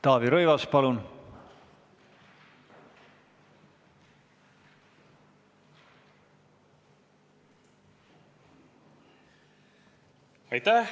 Taavi Rõivas, palun!